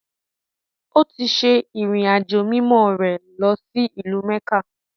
Ó ti se “ìrìn-àjò mimọ́” rẹ̀ lọsí ìlú-mẹ́kà.